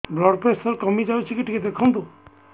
blood pressure କମି ଯାଉଛି କି ଟିକେ ଦେଖନ୍ତୁ